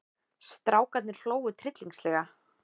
Strákarnir hlógu tryllingslega.